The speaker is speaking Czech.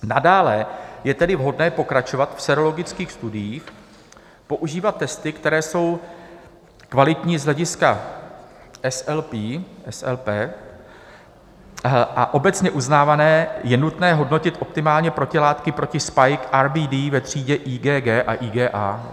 Nadále je tedy vhodné pokračovat v sérologických studiích, používat testy, které jsou kvalitní z hlediska SLP a obecně uznávané, je nutné hodnotit optimálně protilátky proti spike-RBD ve třídě IgG a IgA.